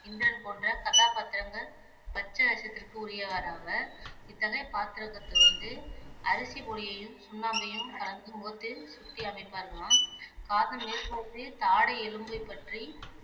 இந்திரன் போன்ற கதாபாத்திரங்கள் பச்சை வேஷத்திற்கு உரியவர் ஆவர் இத்தகைய பாத்திரத்தை வந்து அரிசிப் பொடியையும் சுண்ணாம்பையும் கலந்து முகத்தில் சுட்டி அமைப்பார்களாம் காதின் மேற்புறத்தில் தாடை எலும்பைப்பற்றி